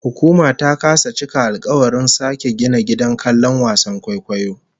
Hukuma ta kasa cika alkawarin sake gina gidan kallon wasan kwaikwayon